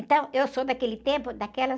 Então, eu sou daquele tempo, daquelas...